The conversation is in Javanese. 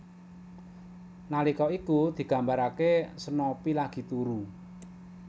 Nalika iku digambaraké Snoopy lagi turu